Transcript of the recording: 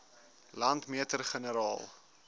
landmeter generaal